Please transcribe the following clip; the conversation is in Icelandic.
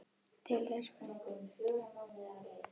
Til þess voru henni nauðsynlegar þessar stóru vinnustofur.